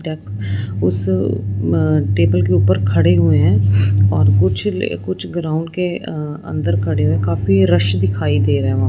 तक उस आ टेबल के ऊपर खड़े हुए हैं और कुछ ले कुछ ग्राउंड के अ अंदर खड़े हुए काफी रश दिखाई दे रहा वहां--